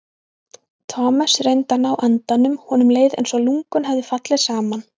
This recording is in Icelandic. Thomas reyndi að ná andanum, honum leið einsog lungun hefðu fallið saman.